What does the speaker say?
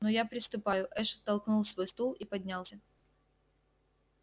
ну я приступаю эш оттолкнул свой стул и поднялся